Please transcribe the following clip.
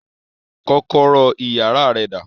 Kọ́kọ́rọ́ iyàrá rẹ dà